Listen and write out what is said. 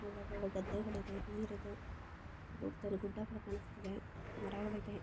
ಗಿಡಗಳು ಹೊಲಗದ್ದೆಗಳಿವೆ ನೀರಿದೆ ಗುಡ್ಡಗಳು ಕಾಣಿಸ್ತಿದೆ ಮರಗಳಿವೆ.